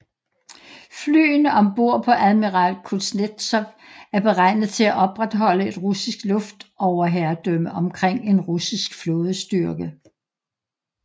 Flyene om bord på Admiral Kuznetsov er beregnet til at opretholde et russisk luftoverherredømme omkring en russisk flådestyrke